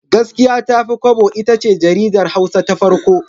Gaskiya Tafi Kwabo itace jaridar Hausa ta farko.